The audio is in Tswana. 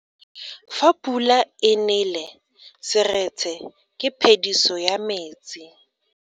Fa pula e nele seretse ke phediso ya metsi.